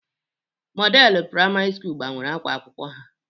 Modelu Praimari Sukulu gbanwere ákwá akwụkwọ ha.